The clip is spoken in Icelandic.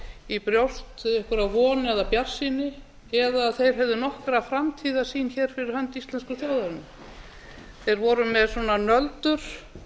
í brjóst einhverja von eða bjartsýni eða þeir hefðu nokkra framtíðarsýn hér fyrir hönd íslensku þjóðarinnar þeir voru með svona nöldur